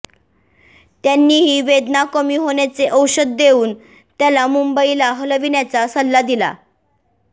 त्यांनीही वेदना कमी होण्याचे औषध देऊन त्याला मुंबईला हलविण्याचा सल्ला दिला